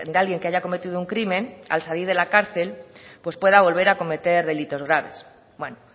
alguien que haya cometido un crimen al salir de la cárcel pues pueda volver a cometer delitos graves bueno